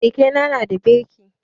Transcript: Keke na nada birki